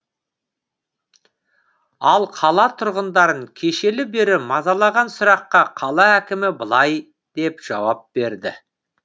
ал қала тұрғындарын кешелі бері мазалаған сұраққа қала әкімі былай деп жауап берді